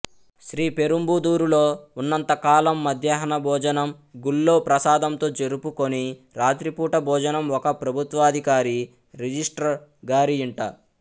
శ్రీ పెరుంబుదూరులో ఉన్నంత కాలం మధ్యాహ్న భోజనం గుళ్ళో ప్రసాదంతో జరుపుకొని రాత్రిపూట భోజనం ఒక ప్రభుత్వాధికారి రిజిస్ట్రార్ గారియింట